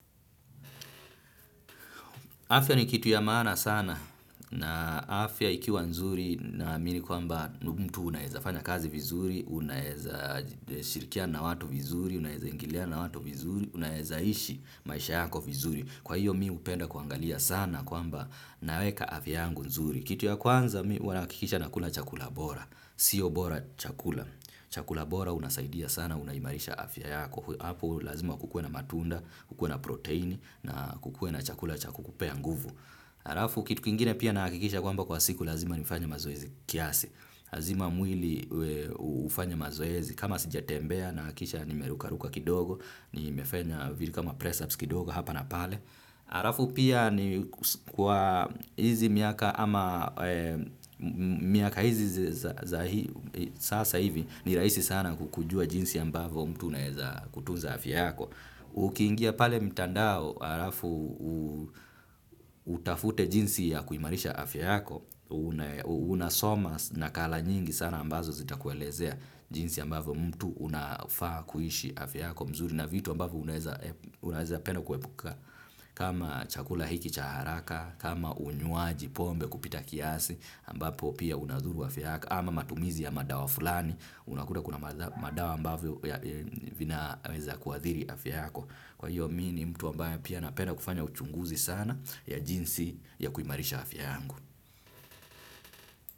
Afya ni kitu ya maana sana na afya ikiwa nzuri naamini kwamba mtu unaeza fanya kazi vizuri, unaeza shirikiana na watu vizuri, unaeza ingiliana na watu vizuri, unaeza ishi maisha yako vizuri. Kwa hiyo mi hupenda kuangalia sana kwamba naweka afya yangu nzuri. Kitu ya kwanza mi huwa nahakikisha nakula chakula bora, siyo bora chakula. Chakula bora unasaidia sana, unaimarisha afya yako. Hapo lazima kukue na matunda, kukue na proteini na kukue na chakula cha kukupea nguvu. Alafu kitu kingine pia nahakikisha kwamba kwa siku lazima nifanya mazoezi kiasi. Lazima mwili ufanye mazoezi kama sijatembea nahakikisha nimerukaruka kidogo, nimefenya vitu kama press-ups kidogo hapa na pale. Alafu pia ni kwa hizi miaka ama miaka hizi sasa hivi ni rahisi sana kujua jinsi ambavo mtu unaeza kutunza afya yako. Ukiingia pale mtandao, alafu utafute jinsi ya kuimarisha afya yako, unasoma nakala nyingi sana ambazo zitakuelezea jinsi ambavo mtu unafaa kuishi afya yako mzuri na vitu ambavo unaeza penda kuepuka. Kama chakula hiki cha haraka kama unywaji pombe kupita kiasi ambapo pia unadhuru afya yako ama matumizi ya madawa fulani. Unakuta kuna madawa ambavyo vinaweza kuadhiri afya yako. Kwa hiyo mi ni mtu ambayo pia napenda kufanya uchunguzi sana ya jinsi ya kuimarisha afya yangu.